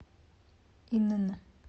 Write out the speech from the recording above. инн